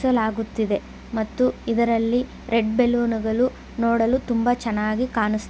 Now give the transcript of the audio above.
ಸಿಲಾಗುತಿದೆ ಮತ್ತು ಇದರಲ್ಲಿ ರೆಡ್ ಬಲೂನ್ಗಳು ನೋಡಲು ತುಂಬ ಚೆನ್ನಾಗಿ ಕಾನ್ಸ್--